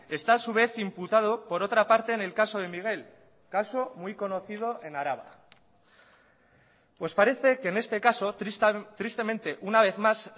está a su vez imputado por otra parte en el caso de miguel caso muy conocido en araba pues parece que en este caso tristemente una vez más